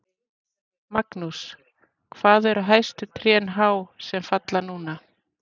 Magnús: Hvað eru hæstu trén há sem falla núna?